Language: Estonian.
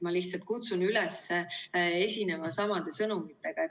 Ma lihtsalt kutsun üles esinema samade sõnumitega.